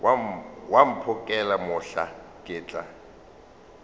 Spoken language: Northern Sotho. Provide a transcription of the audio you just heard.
wa mphokela mohla ke tla